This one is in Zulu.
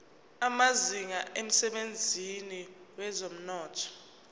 amazinga emsebenzini wezomnotho